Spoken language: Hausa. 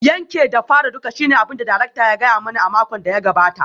Yanke da fara duka shine abin da darakta ya gaya mani a makon da ya gabata